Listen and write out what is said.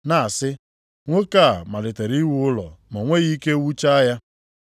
na-asị, ‘Nwoke a malitere iwu ụlọ, ma o nweghị ike wuchaa ya.’